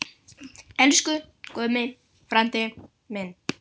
Elsku Gummi frændi minn.